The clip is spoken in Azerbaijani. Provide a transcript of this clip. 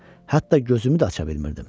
Hətta gözümü də aça bilmirdim.